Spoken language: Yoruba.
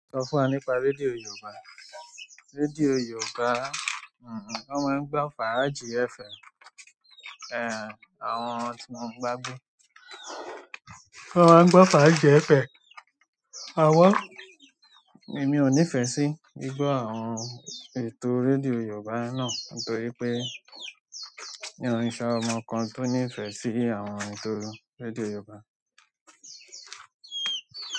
Sọ fún wa nípa rédíò Yorùbá. Rédíò Yorùbá, òun wọn ń gbọ́ fàájì FM, ẹ́, àwọn tí mò ń ba gbe. Wọ́n máa ń gbọ́ fàájì ẹ̀fẹ̀. Awo! Èmi ò nífẹ̀ẹ́ sí gbigbọ àwọn ètò rédíò Yorùbá náà nítorí mio n ṣe ọmọ kan tó nífẹ̀ẹ́ sí àwọn ètò rédíò Yorùbá.